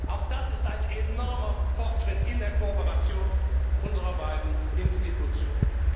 Auch das ist ein enormer Fortschritt in der Kooperation unserer beiden Institutionen.